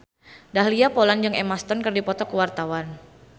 Dahlia Poland jeung Emma Stone keur dipoto ku wartawan